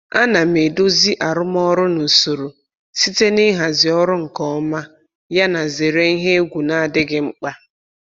Ana m edozi arụmọrụ na usoro site na ịhazi ọrụ nke ọma yana zere ihe egwu na-adịghị mkpa.